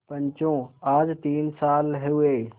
पंचो आज तीन साल हुए